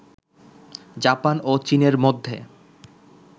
Japan ও চীনের মধ্যে